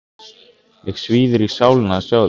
Mig svíður í sálina að sjá þig.